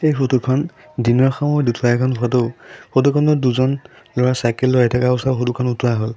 এই ফটো খন দিনৰ সময়ত উঠোৱা এখন ফটো ফটো খনত দুজন ল'ৰা চাইকেল লৈ আহি থকা অৱস্থাত খন উঠোৱা হ'ল।